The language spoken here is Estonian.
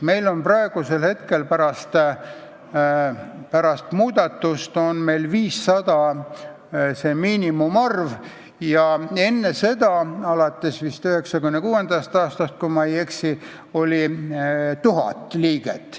Meil on praegu see miinimumarv 500 ja enne seda, alates vist 1996. aastast, kui ma ei eksi, oli nõutav 1000 liiget.